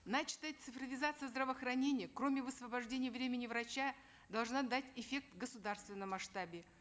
начатая цифровизация здравоохранения кроме высвобождения времени врача должна дать эффект в государственном масштабе